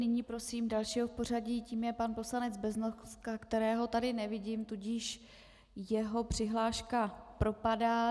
Nyní prosím dalšího v pořadí, tím je pan poslanec Beznoska, kterého tady nevidím, tudíž jeho přihláška propadá.